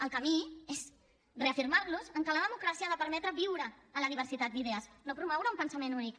el camí és reafirmar nos en que la democràcia ha de permetre viure en la diversitat d’idees no promoure un pensament únic